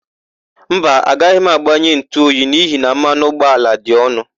Mba, agaghị m agbanye ntụoyi n'ihi na mmanụ ụgbọala dị ọnụ.